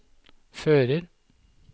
fører